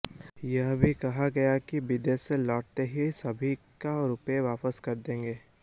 यह भी कहा गया कि विदेश से लौटते ही सभी को रुपए वापस कर देंगे